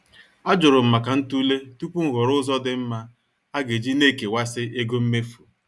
Ajurum maka ntule tupu m ghọrọ ụzọ dị mma aga-esi na-ekewasi ego mmefu.